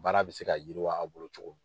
Baara bɛ se ka yiriwa a' bolo cogo min.